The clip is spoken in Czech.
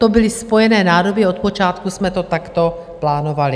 To byly spojené nádoby, od počátku jsme to takto plánovali.